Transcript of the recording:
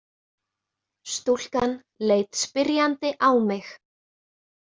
Stúlkan leit spyrjandi á mig.